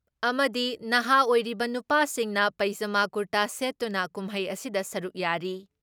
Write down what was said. ꯑꯃꯗꯤ ꯅꯍꯥ ꯑꯣꯏꯔꯤꯕ ꯅꯨꯄꯥꯁꯤꯡꯅ ꯄꯩꯖꯥꯃꯥ ꯀꯨꯔꯇꯥ ꯁꯦꯠꯇꯨꯅ ꯀꯨꯝꯍꯩ ꯑꯁꯤꯗ ꯁꯔꯨꯛ ꯌꯥꯔꯤ ꯫